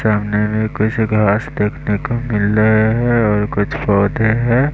सामने में कुछ घास देखने को मिल रहे हैं और कुछ पौधे हैं।